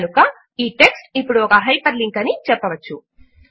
కనుక ఈ టెక్స్ట్ ఇప్పుడు ఒక హైపర్ లింక్ అని చెప్పవచ్చు